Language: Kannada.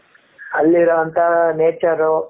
ಅಲ್ಲಿ ಇರುವಂತ nature ರು ,